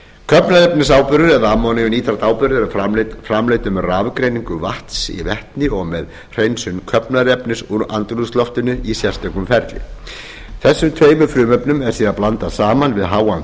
köfnunarefnisáburður eða ammóníumnítratáburður er framleiddur með rafgreiningu vatns í vetni og með hreinsun köfnunarefnis úr andrúmsloftinu í sérstöku ferli þessum tveimur frumefnum er síðan blandað saman við háan